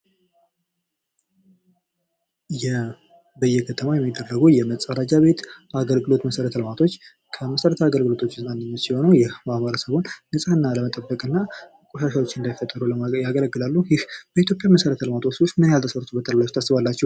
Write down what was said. በየከተማው የሚገኙ የመፀዳጃ ቤት አገልግሎት መሰረተ ልማቶች ከመሰረታዊ አገልግሎቶች ውስጥ አንዱ ሲሆኑ ይህ የማህበረሰቡን ንፅህና ለመጠበቅና ቆሻሻዎች እንዳይፈጠሩ ለማድረግ ያገለግላሉ። ይህ በኢትዮጵያ መሰረተልማቶች ውስጥ ምን ያህል ተሰርቶበታል ብላችሁ ታስባላችሁ።